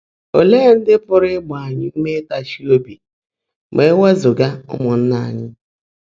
Óleé ndị́ pụ́rụ́ ị́gbá ányị́ úmé ị́táchi óbí má é wèèzúgá ụ́mụ́nnaá ányị́?